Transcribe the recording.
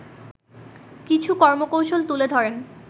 কিছু কর্মকৌশল তুলে ধরেন